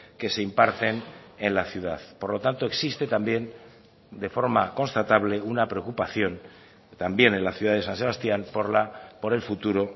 que se imparten en la ciudad por lo tanto existe también de forma constatable una preocupación también en la ciudad de san sebastián por el futuro